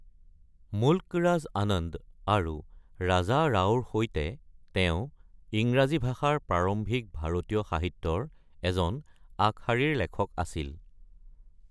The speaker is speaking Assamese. মুল্ক ৰাজ আনন্দ আৰু ৰাজা ৰাওৰ সৈতে ইংৰাজী ভাষাৰ প্ৰাৰম্ভিক ভাৰতীয় সাহিত্যৰ এজন আগশাৰীৰ লেখক আছিল।